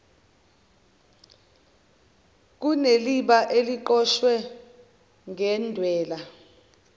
kuneliba eliqoshwe ngedwala